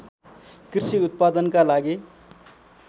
कृषि उत्पादनका लागि